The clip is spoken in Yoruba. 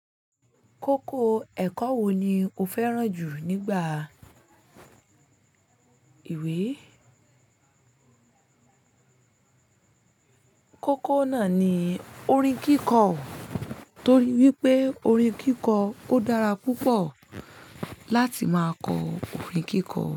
Kókó ẹ̀kọ́ wo ni o fẹ́ràn jù nígbà ìwé? Kókó náà ni orin kíkọ, torí wípé orin kíkọ kò dára púpọ̀ láti máa kọ orin kíkọ.